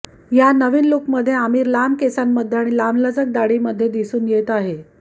या नवीन लूकमध्ये आमिर लांब केसांमध्ये आणि लांबलचक दाढीमध्ये दिसून येत आहे